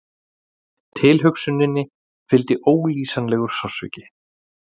Tilhugsuninni fylgdi ólýsanlegur sársauki.